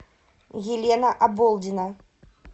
елена оболдина